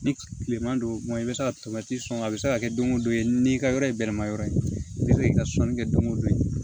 Ni kilema don i bɛ se ka to sɔngɔ a bɛ se ka kɛ don o don ye n'i ka yɔrɔ ye bɛlɛma yɔrɔ ye i bɛ se k'i ka sɔnni kɛ don o don